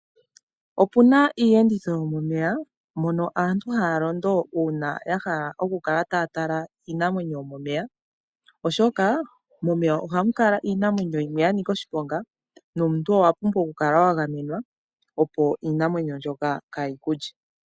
Opu na iiyenditho yomomeya mono aantu haa londo uuna ya hala okukala taya tala iinamwenyo yomomeya, oshoka momeya ohamu kala iinamwenyo yimwe ya nika oshiponga, nomuntu owa pumbwa okukala wa gamenwa opo iinamwenyo ndyoka kaayi kulye.